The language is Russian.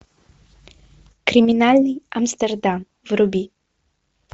криминальный амстердам вруби